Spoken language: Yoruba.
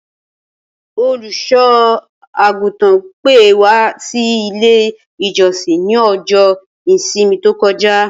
Olùsò-àgùtàn pè wa si ilé-ìjosìn ni ọjọ́ ìsinmi tókojá.